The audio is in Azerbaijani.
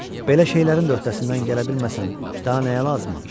Belə şeylərin də öhdəsindən gələ bilməsəm, daha nəyə lazımam?